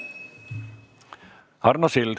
Arno Sild.